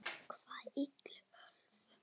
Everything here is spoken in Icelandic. Hvernig illum öflum?